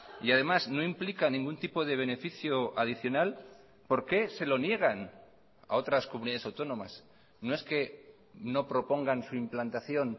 y además no implica ningún tipo de beneficio adicional por qué se lo niegan a otras comunidades autónomas no es que no propongan su implantación